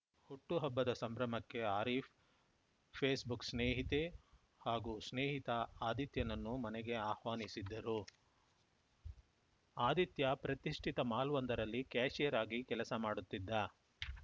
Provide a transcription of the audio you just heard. ಹುಟ್ಟುಹಬ್ಬದ ಸಂಭ್ರಮಕ್ಕೆ ಆರೀಫ್‌ ಫೇಸ್‌ಬುಕ್‌ ಸ್ನೇಹಿತೆ ಹಾಗೂ ಸ್ನೇಹಿತ ಆದಿತ್ಯನನ್ನು ಮನೆಗೆ ಆಹ್ವಾನಿಸಿದ್ದರು ಆದಿತ್ಯ ಪ್ರತಿಷ್ಠಿತ ಮಾಲ್‌ವೊಂದರಲ್ಲಿ ಕ್ಯಾಷಿಯರ್‌ ಆಗಿ ಕೆಲಸ ಮಾಡುತ್ತಿದ್ದ